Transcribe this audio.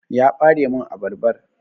Ya Ɓare min abarbar.